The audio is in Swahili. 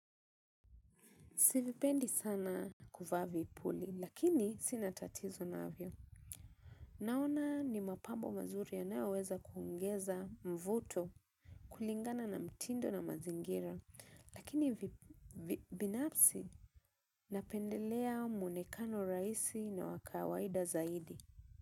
Sivipendi sana kuvaa vipuli, lakini sina tatizo navyo. Naona ni mapambo mazuri yanayoweza kuongeza mvuto kulingana na mtindo na mazingira. Lakini binafsi napendelea mwonekano rahisi na wa kawaida zaidi.